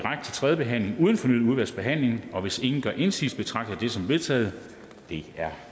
tredje behandling uden fornyet udvalgsbehandling og hvis ingen gør indsigelse betragter jeg det som vedtaget det er